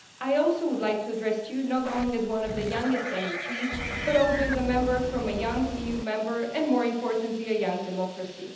I also would like to address you, not only as one of the youngest MEPs but also as a Member from a young EU Member State and, more importantly, a young democracy.